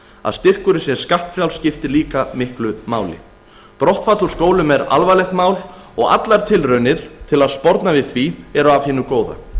að styrkurinn sé skattfrjáls skiptir líka miklu máli brottfall úr skólum er alvarlegt mál og allar tilraunir til að sporna við því eru af hinu góða